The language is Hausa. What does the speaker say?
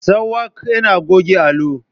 Sakwak yana goge allo.